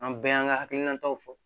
An bɛɛ y'an ka hakilinataw fɔ